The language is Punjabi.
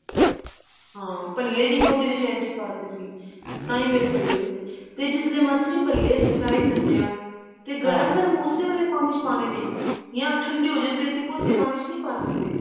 ਹਾਂ ਭੱਲੇ ਵੀ ਮੈਂ ਉਹਦੇ ਵਿੱਚ ਇੰਝ ਹੀ ਪਾ ਤੇ ਸੀ ਤਾਹੀਂ ਮੇਰੇ ਭੱਲੇ ਵੀ ਤੇ ਜਿਸ ਲਈ ਮਾਸੀ ਜੀ ਭੱਲੇ ਆਪਨ fry ਕਰਦੇ ਹਾਂ ਤੇ ਗਰਮ ਗਰਮ use ਵੇਲੇ ਪਾਣੀ ਚ ਪਾਉਣੇ ਨੇ ਜਾਂ ਠੰਡੇ ਹੋ ਜਾਣ ਅਸੀਂ ਕੋਸੇ ਪਾਣੀ ਵਿੱਚ ਨੀ ਪਾ ਸਕਦੇ